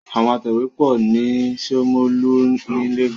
Àwọn atẹ̀wé pọ̀ ní Ṣómólú ni Lagos.